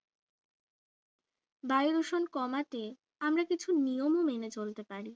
বায়ু দূষণ কমাতে আমরা কিছু নিয়ম মেনে চলতে পারি